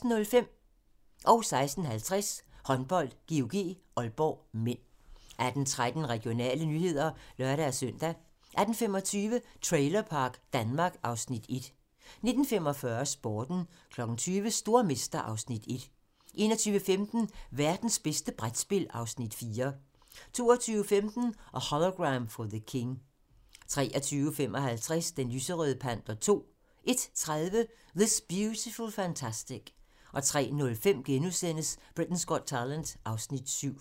16:50: Håndbold: GOG-Aalborg (m) 18:13: Regionale nyheder (lør-søn) 18:25: Trailerpark Danmark (Afs. 1) 19:45: Sporten 20:00: Stormester (Afs. 1) 21:15: Værtens bedste brætspil (Afs. 4) 22:15: A Hologram for the King 23:55: Den lyserøde panter 2 01:30: This Beautiful Fantastic 03:05: Britain's Got Talent (Afs. 7)*